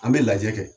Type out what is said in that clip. An bɛ lajɛ kɛ